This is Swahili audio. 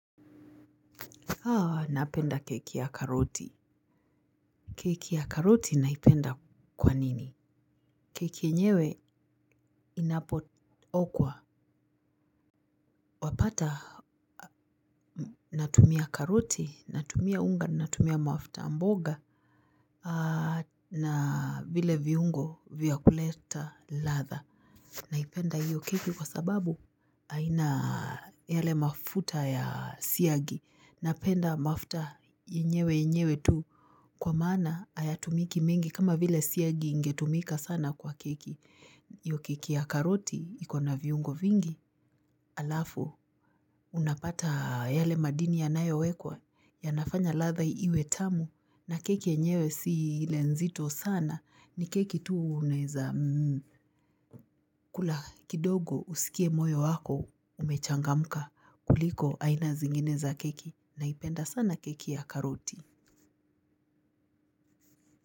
Haa! Napenda keki ya karoti. Keki ya karoti naipenda kwa nini? Keki yenyewe inapo okwa wapata, natumia karoti, natumia unga, natumia mafuta mboga, haa na vile viungo vya kuleta ladha. Naipenda hiyo keki kwa sababu, haina yale mafuta ya siagi. Napenda mafuta yenyewe yenyewe tu, kwa maana hayatumiki mingi kama vile siagi ingetumika sana kwa keki. Hio keki ya karoti ikona viungo vingi halafu unapata yale madini yanayowekwa yanafanya ladha iwe tamu, na keki yenyewe si ile nzito sana. Ni keki tu unaeza kula kidogo usikie moyo wako umechangamka, kuliko aina zingine za keki. Naipenda sana keki ya karoti.